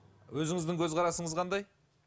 өзіңіздің көзқарасыңыз қандай